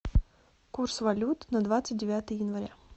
курс валют на двадцать девятое января